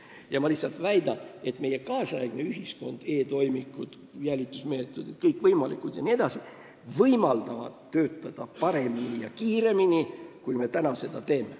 Ja ma väidan, et meie kaasaegse ühiskonna uurimistehnika – e-toimikud, kõikvõimalikud jälitusmeetodid jne – võimaldab töötada paremini ja kiiremini, kui me seda praegu teeme.